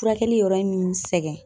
Furakɛli yɔrɔ ye mi n sɛgɛn